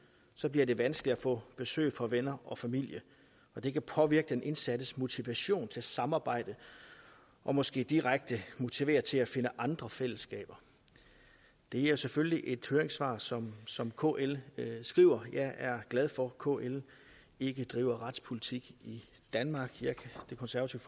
bliver det vanskeligt at få besøg af venner og familie og det vil påvirke den indsattes motivation til samarbejde og måske direkte motivere til at finde andre fællesskaber det er selvfølgelig et høringssvar som som kl skriver jeg er glad for at kl ikke driver retspolitik i danmark det konservative